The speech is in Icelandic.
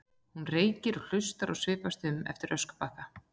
Hún reykir og hlustar og svipast um eftir öskubakka.